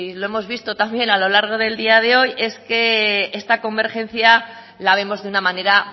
lo hemos visto también a lo largo del día de hoy es que está convergencia la vemos de una manera